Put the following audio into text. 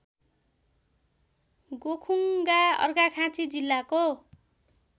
गोखुङ्गा अर्घाखाँची जिल्लाको